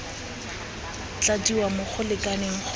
tladiwa mo go lekaneng go